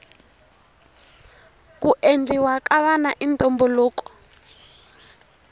ku endliwa ka vana i ntumbuluko